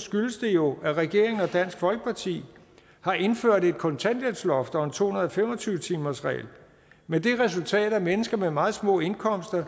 skyldes det jo at regeringen og dansk folkeparti har indført et kontanthjælpsloft og en to hundrede og fem og tyve timersregel med det resultat at mennesker med meget små indkomster